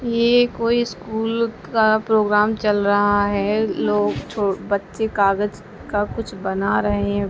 ये कोई स्कूल का प्रोग्राम चल रहा है। लोग छो बच्चे कागज का कुछ बना रहे हैं।